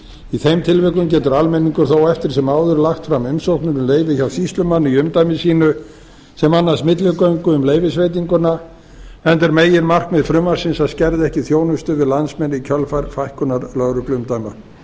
í þeim tilfellum getur almenningur þó eftir sem áður lagt fram umsóknir um leyfi hjá sýslumanni í umdæmi sínu sem annast milligöngu um leyfisveitinguna enda er meginmarkmið frumvarpsins að skerða ekki þjónustu við landsmenn í kjölfar fækkunar lögregluumdæma þá